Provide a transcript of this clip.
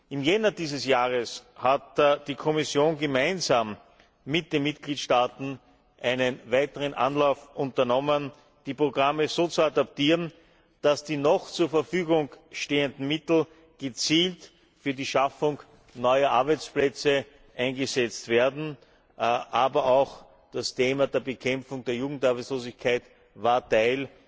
Im Jänner dieses Jahres hat die Kommission gemeinsam mit den Mitgliedstaaten einen weiteren Anlauf unternommen, die Programme so zu adaptieren, dass die noch zur Verfügung stehenden Mittel gezielt für die Schaffung neuer Arbeitsplätze eingesetzt werden, aber auch das Thema der Bekämpfung der Jugendarbeitslosigkeit war Teil